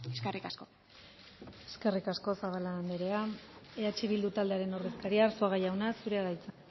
eskerrik asko eskerrik asko zabala anderea eh bildu taldearen ordezkaria arzuaga jauna zurea da hitza